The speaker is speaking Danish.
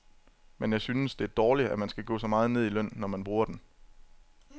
Men jeg synes, det er dårligt, at man skal gå så meget ned i løn, når man bruger den.